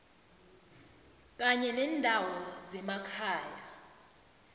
kanye nendawo zemakhaya